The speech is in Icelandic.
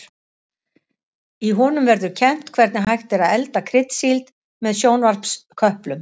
Í honum verður kennt hvernig hægt er að elda kryddsíld með sjónvarpsköplum.